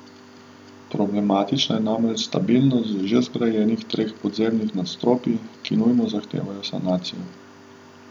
Problematična je namreč stabilnost že zgrajenih treh podzemnih nadstropij, ki nujno zahteva sanacijo.